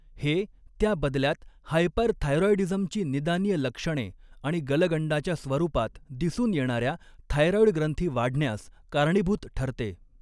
हे, त्या बदल्यात हायपरथायरॉईडीझमची निदानीय लक्षणे आणि गलगंडाच्या स्वरूपात दिसून येणाऱ्या थायरॉईड ग्रंथी वाढण्यास कारणीभूत ठरते.